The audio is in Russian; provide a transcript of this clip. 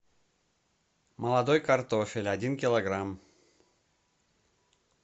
молодой картофель один килограмм